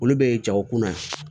Olu bɛ jago kun na